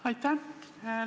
Aitäh!